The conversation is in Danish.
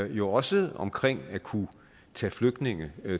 jo også omkring at kunne tage flygtninge